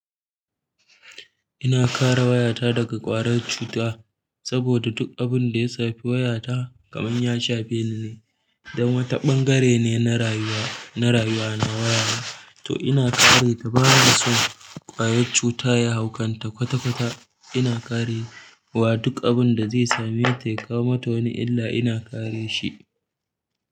Ina kare wayata daga ƙwayar cuta, saboda duk abinda ya shafi wayata kaman ya shafe ni ne. Dan wata ɓangare ne na rayuwa, na rayuwa na wayana. To ina kare ta ba na son ƙwayar cuta ya hau kanta kwata-kwata. Ina kare wa duk abun da zai same ta, ya kawo ma ta wani illa ina kare shi.